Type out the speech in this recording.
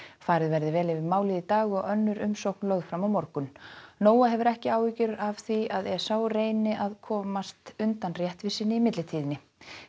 farið verði vel yfir málið í dag og önnur umsókn lögð fram á morgun hefur ekki áhyggjur af því að Esau reyni að komast undan réttvísinni í millitíðinni